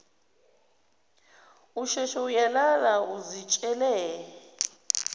usheshe uyalala uzitshele